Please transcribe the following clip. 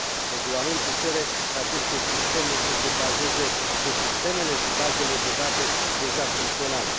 Regulamentul cere ca aceste sisteme să se bazeze pe sistemele și bazele de date deja funcționale.